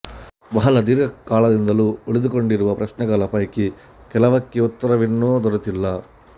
ಬಹಳ ದೀರ್ಘಕಾಲದಿಂದಲೂ ಉಳಿದುಕೊಂಡಿರುವ ಪ್ರಶ್ನೆಗಳ ಪೈಕಿ ಕೆಲವಕ್ಕೆ ಉತ್ತರವಿನ್ನೂ ದೊರೆತಿಲ್ಲ